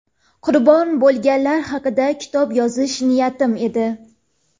qurbon bo‘lganlar haqida kitob yozish niyatim edi.